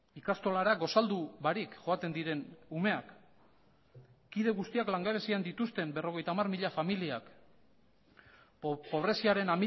ikastolara gosaldu barik joaten diren umeak kide guztiak langabezian dituzten berrogeita hamar mila familiak pobreziaren